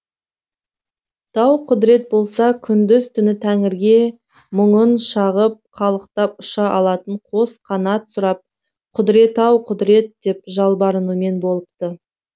тауқұдірет болса күндіз түні тәңірге мұңын шағып қалықтап ұша алатын қос қанат сұрап құдірет ау құдірет деп жалбарынумен болыпты